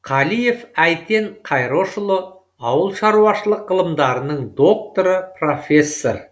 қалиев әйтен қайрошұлы ауыл шаруашылық ғылымдарының докторы профессор